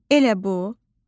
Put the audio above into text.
“Elə bu?”